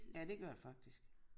Ja det gør det faktisk